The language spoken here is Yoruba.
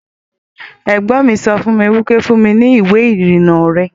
Ẹ̀gbọ́n mi sọ fún mi wípé 'Fún mi ní ìwé ìrìnnà rẹ'